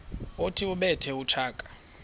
othi ubethe utshaka